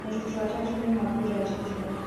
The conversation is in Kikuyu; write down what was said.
Arutwo atatũ nĩmaguraririo